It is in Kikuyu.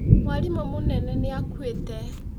Mwarimũ mũnene nĩ akuĩte